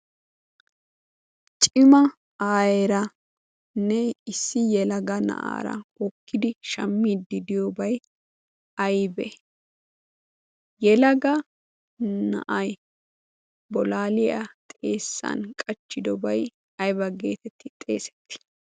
Cima aayeeranne issi yelaga naa'ara hokkidi shammide diyoobay aybee? yelaga na'ay bolaaliya xeessan qachchidobay ayba geetetti xeesettii?